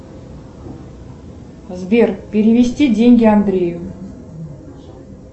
сбер перевести деньги андрею